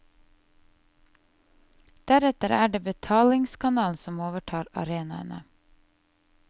Deretter er det betalingskanalen som overtar arenaene.